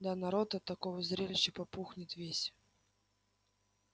да народ от такого зрелища попухнет весь